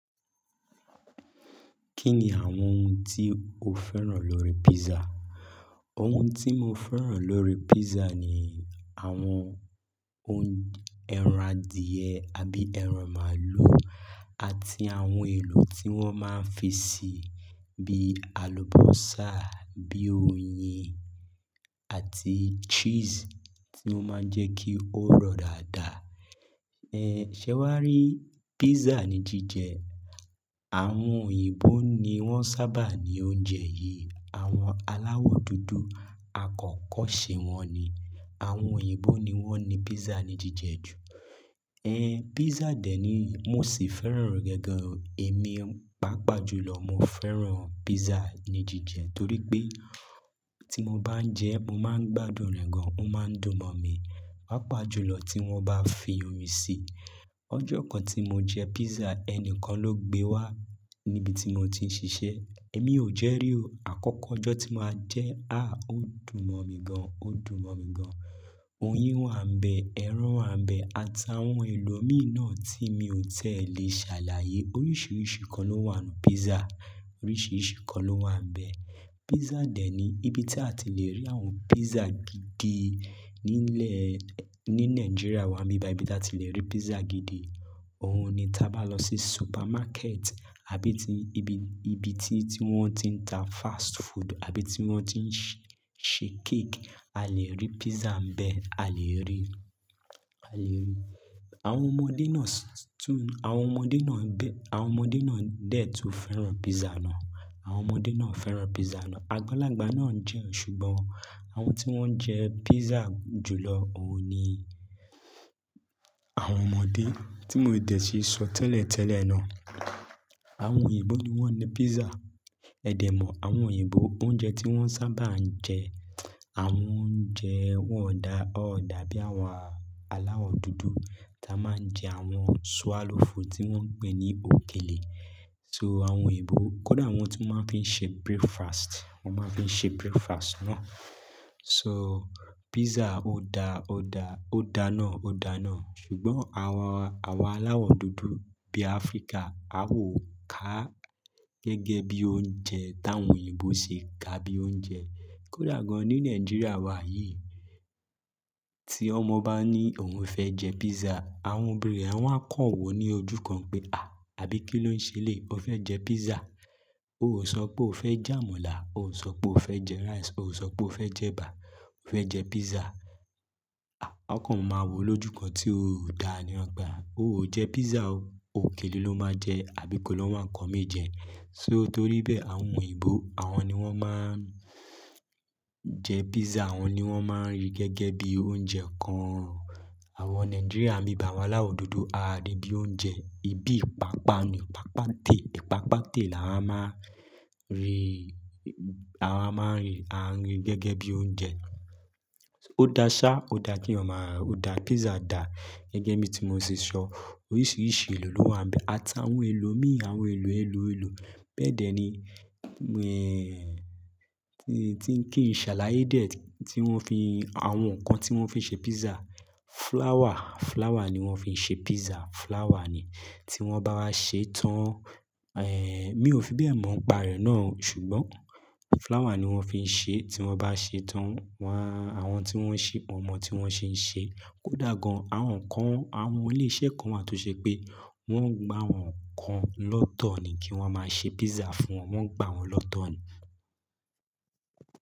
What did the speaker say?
Kí ni àwọn ohun tí o fẹ́ràn lórí pizza? Ohun tí mo fẹ́ràn lórí pizza ni àwọn ohun ẹran adìẹ àbí ẹran màálù àti àwọn èlò tí wọ́n máa ń fi sè bí alubọ́sá, bí oyin àti cheese tí ó máa ń jẹ́ kí ó rọ̀ dáadáa. Ẹ ṣé wàá rí pizza ní jíjẹ. Àwọn òyìnbó ni wọ́n sábà ní oúnjẹ yìí. Àwọn aláwọ̀ dúdú àkọ́kọ́ ṣe wọn ni. Àwọn òyìnbó ni wọ́n ní pizza ní jíjẹ jù. Ẹ̀ pizza dẹ̀ ni mo sì fẹ́ràn rẹ̀ gaan. Èmi pàápàá jùlọ mo fẹ́ràn pizza ní jíjẹ torí pé tí mo bá ń jẹ ẹ́, mo máa ń gbádùn rẹ̀ gan. Ó máa ń dùn mọ́ mi. Pàápàá jùlọ tí wọ́n bá fi oyin sí i. Ọjọ́ kan tí mo jẹ pizza, ẹni kan ló gbé wá níbi tí mo ti ń ṣiṣẹ́. Èmi ò jẹ́ rí o. Àkọ́kọ́ ọjọ́ tí mo máa jẹ ẹ́. À, ó dùn mọ́ mi gan-an, ó dùn mọ́ mi gan-an. Oyin wà ń bẹ, ẹran wà ń bẹ àt'awon èlò mìíràn tí mi ò ti e lè ṣàlàyé. Oríṣiríṣi nkan ló wà ní pizza. Oríṣiríṣi kan ló wà ń bẹ. Pizza dẹ̀ ni ìbí tí a ti le rí àwọn pizza gidi nílẹ̀ ní Nàìjíríà wa, ni bi bayi ìbí tí a ti le rí pizza gidi. Ohun ni tí a bá lọ sí supermarket àbí ti ibi, ibi tí, tí wọ́n ti ń ta fast food àbí tí wọ́n ti ń ṣe, ṣe cake, a lè rí pizza ń bẹ, a lè rí i, a lè rí i. Àwọn ọmọdé náà sì tún, àwọn ọmọdé náà bẹ, àwọn ọmọdé náà dè tó fẹ́ràn pizza náà. Àwọn ọmọdé náà ń fẹ́ràn pizza náà. Agbalagba náà ń jẹ ẹ́ ṣùgbọ́n àwọn tí wọ́n jẹ pizza jùlọ, òun ni àwọn ọmọdé tí mo dẹ̀ ṣi sọ tẹ́lẹ̀tẹ́lẹ̀ náà. Àwọn òyìnbó ni wọ́n ní pizza. Ẹ̀dẹ̀ mọ̀ àwọn òyìnbó oúnjẹ tí wọ́n sábà ń jẹ, àwọn óunjẹ wọ́n dà, ó dà bí àwọn aláwọ̀ dúdú tí a máa ń jẹ àwọn swallow food tí wọ́n ń pè ní òkèlè. So àwọn òyìnbó, kódà wọ́n tun máa ń fi ṣe breakfast, wọ́n máa ń fi ṣe breakfast náà. So pizza ó da, ó da, ó da náà, ó da náà. Ṣùgbọ́n àwa, àwa aláwọ̀ dúdú bí Áfríkà, a ò ká gẹ́gẹ́ bí oúnjẹ táwọn òyìnbó ṣe ká bí i oúnjẹ. Kódà gan-an ní Nàìjíríà wa yìí, tí ọmọ bá ní òun fẹ́ jẹ pizza, àwọn òbí rẹ̀ wọ́n á kàn wò ní ojú kan pé, à, àbí kí ló ń ṣe lé? O fẹ́ jẹ pizza? O ò sọ pé o fẹ́ jẹ amala, o ò sọ pé o fẹ́ jẹ rice, o ò sọ pé o fẹ́ jẹ ẹ̀bà. O fẹ́ jẹ pizza. À, ọkàn wọn máa wò lójú kan tí ó dá a ní wipe à. O ò jẹ pizza o. Òkèlè ló máa jẹ. Àbí ko ló wa nkàn mí jẹ. So toríbẹ́ẹ̀ àwọn òyìnbó, àwọn ni wọ́n máa ń jẹ pizza, àwọn ni wọ́n máa ń rí gẹ́gẹ́ bí i oúnjẹ kan. Àwọn Nàìjíríà nibi ba i awá aláwọ̀ dúdú, a rí bí i oúnjẹ ibi ìpápá ni. Ìpápátè, ìpápátè là a máa rí i. A máa ń rí i, a ń rí i gẹ́gẹ́ bí i oúnjẹ. Ó da ṣá, ó da kí eyan maa, ó da pizza dà gẹ́gẹ́ bí i tí mo ṣe sọ. Oríṣiríṣi èlò ló wà ń bẹ. Àt'awon èlò mìíràn, àwọn èlò, èlò, èlò bẹ́ẹ̀ dẹ̀ ni. Ẹ̀ tí ń kí n ṣàlàyé dè tí wọ́n fi àwọn nǹkan tí wọ́n fi ṣe pizza. Flour, flour ni wọ́n fi ṣe pizza. Flour ni. Tí wọ́n bá wá ṣe tán, ẹ̀, mí ò fi bẹ́ẹ̀ mọ̀ ni pa rẹ̀ náà, ṣùgbọ́n flour ni wọ́n fi ṣe. Tí wọ́n bá ṣe tán, wá, àwọn tí wọ́n ṣe, won mọ̀ tí wọ́n ṣe ń ṣe. Kódà gan-an àwọn nkan, àwọn ilé-iṣẹ́ kan wà tó ṣe pé wọ́n ń gba àwọn nkan lọ́tọ̀ ni kí wọ́n máa ṣe pizza fún wọn. Wọn ń gba wọn lọ́tọ̀ ni.